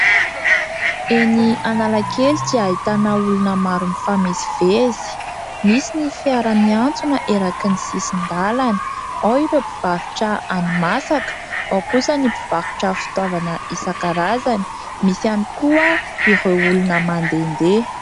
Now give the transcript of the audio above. Eny Analakely dia ahitana olona maro mifamezivezy. Misy ny fiara miantsona eraky ny sisin-dalana. Ao ireo mpivarotra hani-masaka, ao kosa ny mpivarotra fitaovana isan-karazany. Misy ihany koa ireo olona mandehandeha.